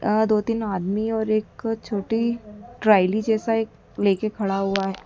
अ दो तीन आदमी और एक छोटी ट्रायली जैसा एक लेके खड़ा हुआह।